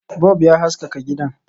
Bub ya haskaka gidan